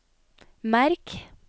merk